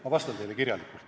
Ma vastan teile kirjalikult.